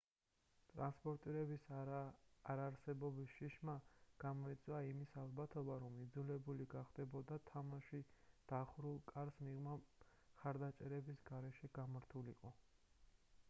ტრანსპორტირების არარსებობის შიშმა გამოიწვია იმის ალბათობა რომ იძულებული გახდებოდა თამაში დახურულ კარს მიღმა მხარდამჭერების გარეშე გამართულიყო